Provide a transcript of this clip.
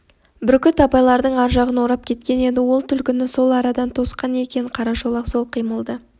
бүркіт абайлардың ар жағын орап кеткен еді ол түлкіні сол арадан тосқан екен қарашолақ сол қимылды